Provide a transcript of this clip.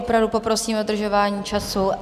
Opravdu poprosím o dodržování času.